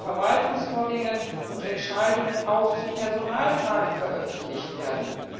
Es sollen Verwaltungsvorgänge und Entscheidungen auch zu Personalfragen veröffentlicht werden.